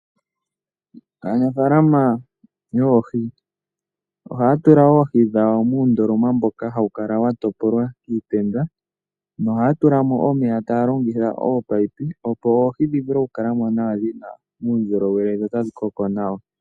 Aanafalama yoohi ohaya tula oohi dhawo muundoloma mboka hawu kala wa topolwa kiitenda, nohaya tula mo omeya taya longitha ominino opo oohi dhi vule okukala mo dhi na uundjolowele dho tadhi koko nawa.